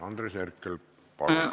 Andres Herkel, palun!